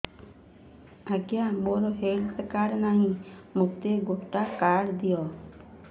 ଆଜ୍ଞା ମୋର health card ନାହିଁ ମୋତେ ଗୋଟେ କାର୍ଡ ଦିଅ